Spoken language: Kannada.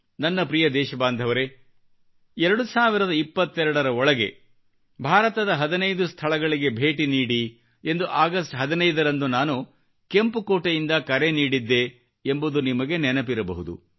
ನನ್ನ ಪ್ರಿಯ ದೇಶಬಾಂಧವರೇ 2022 ರ ಒಳಗೆ ಭಾರತದ 15 ಸ್ಥಳಗಳಿಗೆ ಭೇಟಿ ನೀಡಿ ಎಂದು ಅಗಸ್ಟ್ 15 ರಂದು ನಾನು ಕೆಂಪು ಕೋಟೆಯಿಂದ ಕರೆ ನೀಡಿದ್ದೆ ಎಂಬುದು ನಿಮಗೆ ನೆನಪಿರಬಹುದು